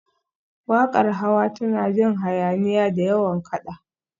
Waƙar Hawa tana jin hayaniya, da yawan kaɗa